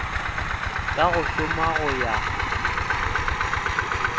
ka go šoma go ya